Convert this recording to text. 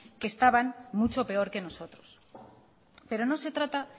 que estaban mucho peor que nosotros pero no se trata